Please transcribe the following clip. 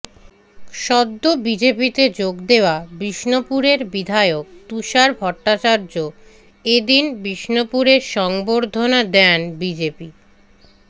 সদ্য বিজেপিতে যোগ দেওয়া বিষ্ণুপুরের বিধায়ক তুষার ভট্টাচার্য এ দিন বিষ্ণুপুরে সংবর্ধনা দেন বিজেপি